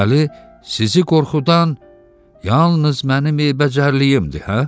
Deməli, sizi qorxudan yalnız mənim eybəcərliyimdir, hə?